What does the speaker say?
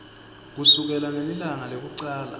kusukela ngelilanga lekucala